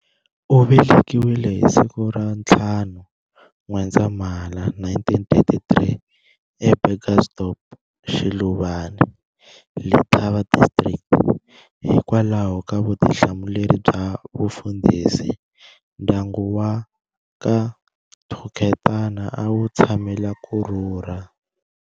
U velekiwile hi siku ra 5 N'wendzamhala 1933, eBurgersdorp, Shiluvane,-Letaba District. Hikwalaho ka vutihlamuleri bya vufundhisi, ndyangu waka Thuketana a wu tshamela ku rhurha.